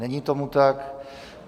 Není tomu tak.